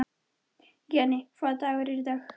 Jenni, hvaða dagur er í dag?